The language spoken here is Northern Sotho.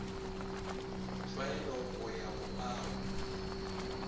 tlwaelo go ya go ao